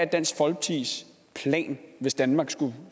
dansk folkepartis plan hvis danmark skulle